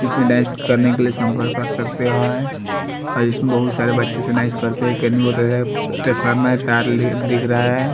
इसमे डायस करने के लिए सम्पर्क कर सकते हैं और इसमे बहुत सारे बच्चे सानाइस करते टेक्स फाइल में कार ले दिख रहा हैं।